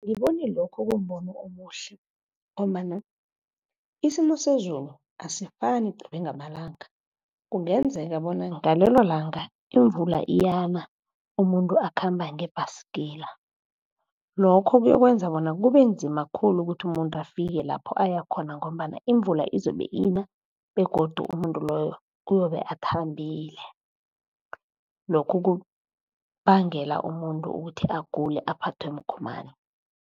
Angiboni lokho kumbono omuhle, ngombana isimo sezulu asifani qobe ngamalanga. Kungenzeka bona ngalelo langa imvula iyana umuntu akhamba ngebhasikila. Lokho kuyokwenza bona kube nzima khulu ukuthi umuntu afike lapho aya khona, ngombana imvula izobe ina begodu umuntu loyo uzobe athambile. Lokho kubangela umuntu ukuthi agule aphathwe mgomani.